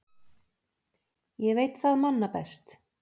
Ég veit það manna best.